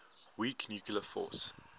weak nuclear force